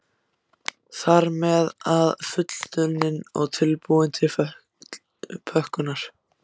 Þar með er hann fullunninn og tilbúinn til pökkunar.